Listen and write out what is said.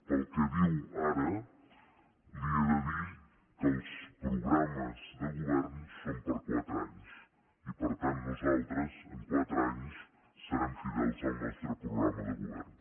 pel que diu ara li he de dir que els programes de govern són per a quatre anys i per tant nosaltres amb quatre anys serem fidels al nostre programa de govern